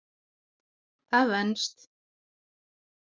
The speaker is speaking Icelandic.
Það venst.